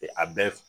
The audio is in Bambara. A bɛɛ